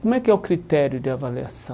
Como é que é o critério de avaliação?